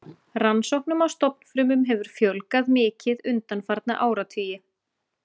Rannsóknum á stofnfrumum hefur fjölgað mikið undanfarna áratugi.